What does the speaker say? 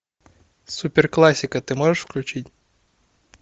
супер классика ты можешь включить